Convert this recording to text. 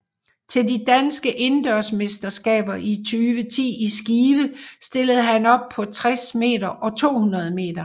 Til de danske indendørsmesterskaber 2010 i Skive stillede han op på 60 meter og 200 meter